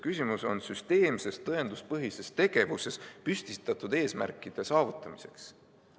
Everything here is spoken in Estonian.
Küsimus on süsteemses tõenduspõhises tegevuses püstitatud eesmärkide saavutamiseks.